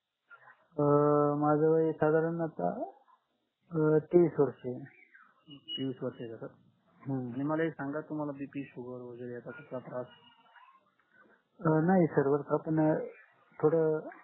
अं माझ age साधारण आता अं तीस वर्ष मला एक सांगा की मला बीपी शुगर वगैरे आता